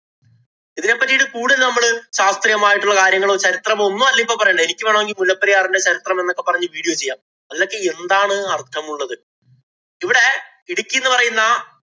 ഇതിനെ പറ്റീട്ട് കൂടുതല്‍ നമ്മള് ശാസ്ത്രീയമായിട്ടുള്ള കാര്യങ്ങളോ, ചരിത്രമോ ഒന്നുമല്ല ഇപ്പം പറയേണ്ടേ. എനിക്ക് വേണമെങ്കില്‍ മുല്ലപ്പെരിയാറിന്‍റെ ചരിത്രമെന്ന് ഒക്കെ പറഞ്ഞ് video ചെയ്യാം. അതിലൊക്കെ എന്താണ് അര്‍ത്ഥമുള്ളത്. ഇവിടെ ഇടുക്കീന്ന് പറയുന്ന